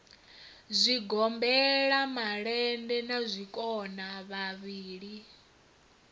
zwigombela malende na zwikona vhavhili